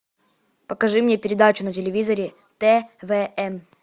покажи мне передачу на телевизоре твн